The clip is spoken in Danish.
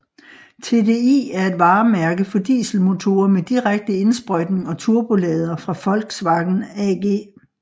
TDI er et varemærke for dieselmotorer med direkte indsprøjtning og turbolader fra Volkswagen AG